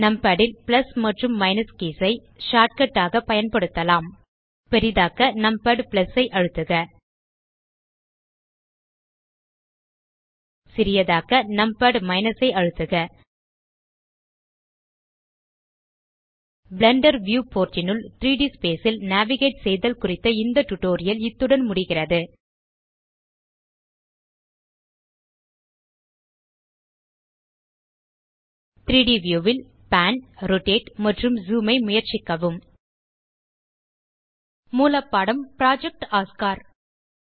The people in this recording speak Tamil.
நம்பாட் ல் பிளஸ் மற்றும் மைனஸ் கீஸ் ஐ ஷார்ட்கட் ஆக பயன்படுத்தலாம் பெரிதாக்க நம்பாட் ஐ அழுத்துக சிறிதாக்க நம்பாட் - ஐ அழுத்துக பிளெண்டர் வியூ போர்ட் னுள் 3ட் ஸ்பேஸ் ல் நேவிகேஜ் செய்தல் குறித்த இந்த டியூட்டோரியல் இத்துடன் முடிகிறது 3ட் வியூ ல் பான் ரோட்டேட் மற்றும் ஜூம் ஐ முயற்சிக்கவும் மூலப்பாடம் புரொஜெக்ட் ஒஸ்கார்